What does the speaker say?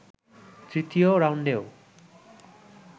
তৃতীয় রাউন্ডেও